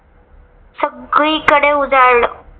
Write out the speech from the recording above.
सगळीकडे उजाडला.